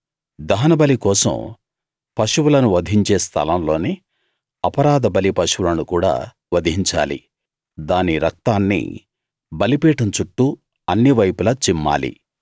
దహనబలి కోసం పశువులను వధించే స్థలం లోనే అపరాధబలి పశువులను కూడా వధించాలి దాని రక్తాన్ని బలిపీఠం చుట్టూ అన్ని వైపులా చిమ్మాలి